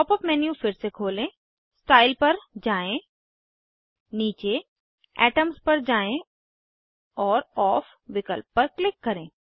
pop up menu फिर से खोलें स्टाइल पर जाएँ नीचे एटम्स पर जाएँ और ओफ विकल्प पर क्लिक करें